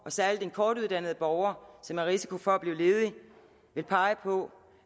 og særlig den kortuddannede borger som har en risiko for at blive ledig vil pege på